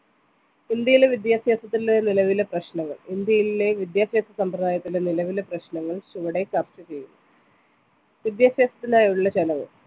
ഇന്ത്യയിലെ വിദ്യാഭ്യാസത്തിലെ നിലവിലെ പ്രശ്‌നങ്ങൾ ഇന്ത്യയിലെ വിദ്യാഭ്യാസ സമ്പ്രദായത്തിലെ നിലവിലെ പ്രശ്‌നങ്ങൾ ചുവടെ ചർച്ച ചെയ്യുന്നു വിദ്യാഭ്യാസത്തിനായുള്ള ചെലവ്